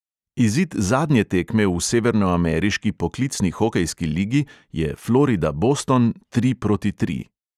Izid zadnje tekme v severnoameriški poklicni hokejski ligi je florida – boston tri proti tri.